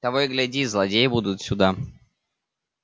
того и гляди злодеи будут сюда